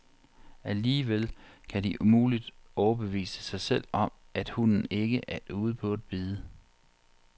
Alligevel kan de umuligt overbevise sig selv om, at hunden ikke er ude på at bide.